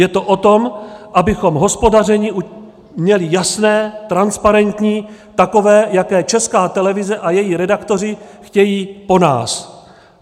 Je to o tom, abychom hospodaření měli jasné, transparentní, takové, jaké Česká televize a její redaktoři chtějí po nás.